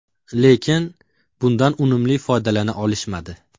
Lekin, bundan unumli foydalana olishmadi.